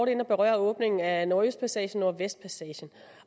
inde at berøre åbningen af nordøstpassagen og nordvestpassagen